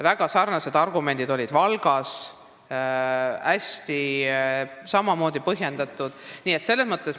Väga sarnased argumendid olid Valgas, samamoodi põhjendati.